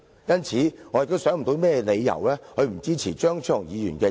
因此，我想不到有甚麼理由不支持張超雄議員的議案。